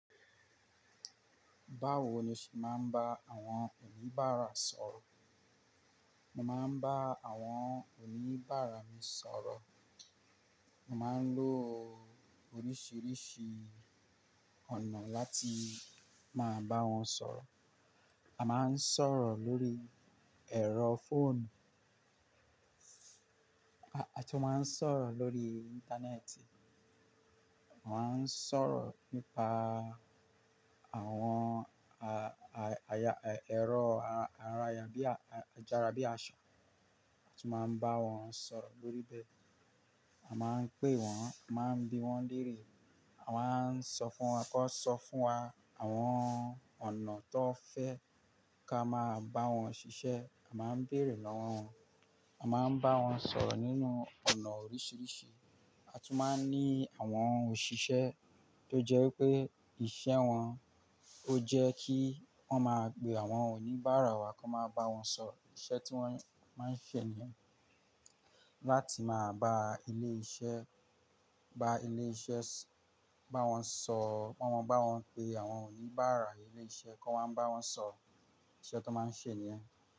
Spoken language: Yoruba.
Báwo ni o ṣe máa ń bá àwọn oníbàárà sọ̀rọ̀? Mo máa ń bá àwọn oníbàárà mi sọ̀rọ̀, mo máa ń lo oríṣìíríṣìí ọ̀nà láti máa bá wọn sọ̀rọ̀. A máa ń sọ̀rọ̀ lórí ẹ̀rọ fóònù, a tún máa ń sọ̀rọ̀ lórí Íńtánẹ́ẹ̀tì, a máa ń sọ̀rọ̀ nípa àwọn, aya ẹ̀rọ araaya bíi àjàrà bíi àṣá, a tún máa ń bá wọn sọ̀rọ̀ lórí bẹ́ẹ̀. A máa ń pé wọ́n, a máa ń bí wọ́n léèrè, a máa ń sọ fún wọn kó sọ fún wa àwọn ọ̀nà tó fẹ́ kí a máa bá wọn ṣiṣẹ́. A máa ń bèrè lọ́wọ́ wọn, a máa ń bá wọn sọ̀rọ̀ nínú ọ̀nà oríṣìíríṣìí. A tún máa ń ní àwọn òṣìṣẹ́ tó jẹ́ pé ìṣe wọn ó jẹ́ kí wọ́n máa gbé àwọn oníbàárà wa kó máa bá wọn sọ iṣẹ́ tí wọ́n máa ń ṣe níyẹn. Láti máa bá ilé iṣẹ́, bá ilé iṣẹ́, bá wọn sọ, bá wọn pé àwọn oníbàárà ilé iṣẹ́ kó wáa ń bá wọn sọro iṣẹ́ tó máa ń ṣe níyẹn.